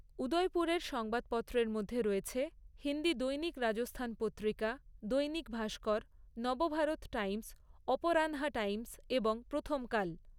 উদয়পুরের সংবাদপত্রের মধ্যে রয়েছে হিন্দি দৈনিক রাজস্থান পত্রিকা, দৈনিক ভাস্কর, নবভারত টাইমস, অপরানহা টাইমস এবং প্রথমকাল।